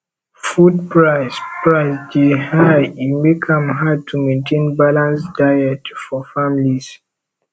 food price price dey high e make am hard to maintain balanced diet for families